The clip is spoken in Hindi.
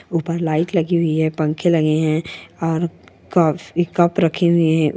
ऊपर लाइट लगी हुई है पंखे लगे है और कप रखे है।